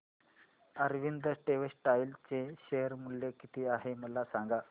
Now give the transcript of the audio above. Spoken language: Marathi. अरविंद टेक्स्टाइल चे शेअर मूल्य किती आहे मला सांगा